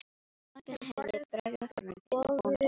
Sá enginn henni bregða fremur en Birni bónda hennar.